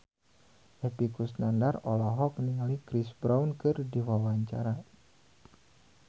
Epy Kusnandar olohok ningali Chris Brown keur diwawancara